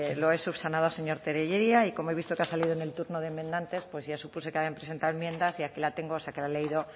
lo he subsanado señor tellería y como he visto que ha salido en el turno de enmendantes pues ya supuse que habían presentado enmiendas y aquí la tengo o sea que la he leído